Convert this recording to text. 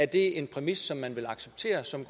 det en præmis som man vil acceptere som